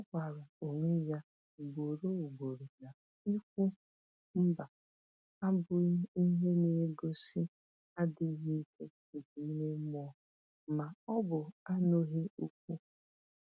Ọ gwara onwe ya ugboro ugboro na ikwu “mba” abụghị ihe na-egosi adịghị ike nke ime mmụọ ma ọ bụ anụghị okwu.